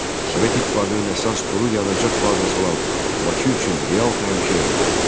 Sovet İttifaqının əsas duru yanacaq bazası olan Bakı üçün real təhlükə yarandı.